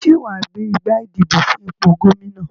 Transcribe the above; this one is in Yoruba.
Sé wàá gbé igbá ìdìbò fún ipò Gómìnà